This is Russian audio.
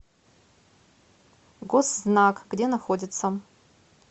госзнак где находится